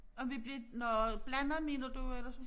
Om vi blev nåh blandet mener du eller sådan